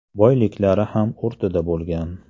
Boyliklari ham o‘rtada bo‘lgan.